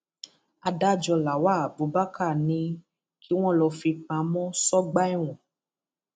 adájọ lawal abubakar ní kí wọn lọọ fi í pamọ sọgbà ẹwọn